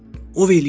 Ov eləyirlər.